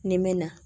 Ni mɛna